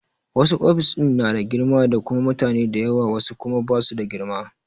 Wasu ofis ɗin na da girma da kuma mutane da yawa wasu kuma ba su da girma.